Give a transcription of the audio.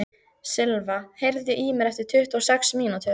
Silva, heyrðu í mér eftir tuttugu og sex mínútur.